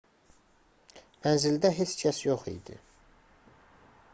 mənzildə heç kəs yox idi